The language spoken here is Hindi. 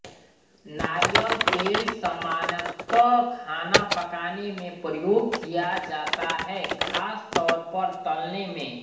नारियल तेल सामान्यतः खाना पकाने में प्रयोग किया जाता है ख़ास तौर पर तलने में